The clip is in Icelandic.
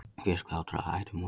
Fé slátrað að hætti múslima